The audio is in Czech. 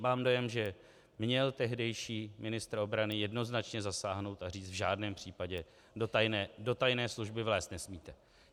Mám dojem, že měl tehdejší ministr obrany jednoznačně zasáhnout a říct: v žádném případě do tajné služby vlézt nesmíte.